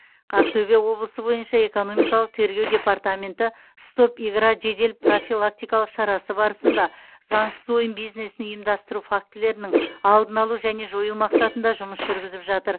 ақтөбе облысы бойынша экономикалық тергеу департаменті стоп игра жедел профилактикалық шарасы барысында заңсыз ойын бизнесін ұйымдастыру фактілерінің алдын алу және жою мақсатында жұмыс жүргізіп жатыр